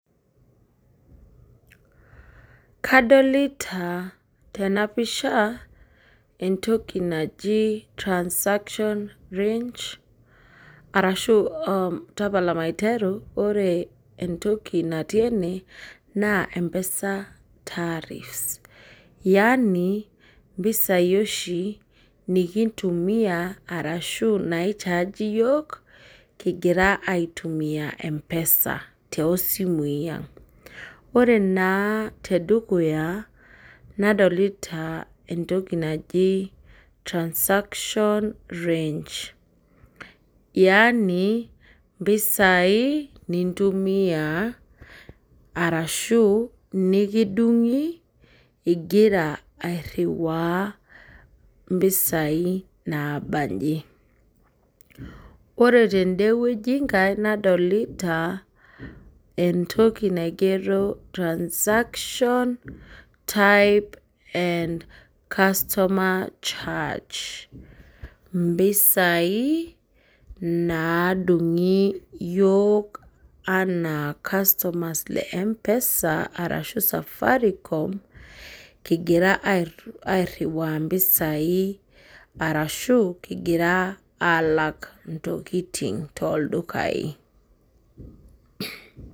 Kadolita tena pisha entoki naji transaction range, ashu ore entoki natii ene naa mpesa tariffs. Yani mpisai oshi nikintumia arashu naichaji yiok kingira aitumiyia mpesa. Ore naa tedukuya nadolita entoki naji transaction range. Yaani mpisai niriwaa ashu nikidungokini ingira airiwaa mpisai naabanji. Ore tendenkai weji nadolita entoki naigero transaction type and customer change. Mpisai naadungi yiok ena customers le mpesa ,arashu safaricom kingira airiwaa mpisai arashu kingira alak ntokiting toldukai.